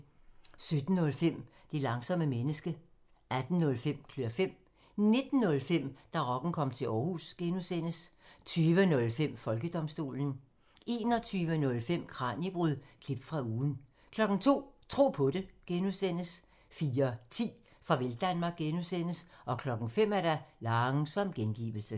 17:05: Det langsomme menneske 18:05: Klør fem 19:05: Da rocken kom til Aarhus (G) 20:05: Folkedomstolen 21:05: Kraniebrud – klip fra ugen 02:00: Tro på det (G) 04:10: Farvel Danmark (G) 05:00: Langsom gengivelse